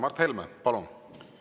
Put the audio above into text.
Mart Helme, palun!